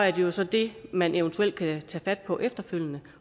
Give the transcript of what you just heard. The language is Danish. jo så det man eventuelt kan tage fat på efterfølgende